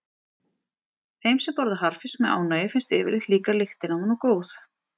Þeim sem borða harðfisk með ánægju finnst yfirleitt líka lyktin af honum góð.